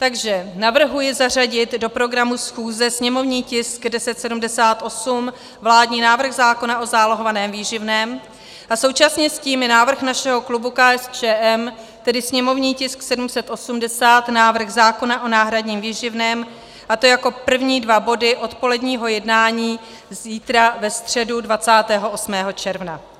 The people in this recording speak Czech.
Takže navrhuji zařadit do programu schůze sněmovní tisk 1078, vládní návrh zákona o zálohovaném výživném, a současně s tím i návrh našeho klubu KSČM, tedy sněmovní tisk 780, návrh zákona o náhradním výživném, a to jako první dva body odpoledního jednání zítra, ve středu 28. června.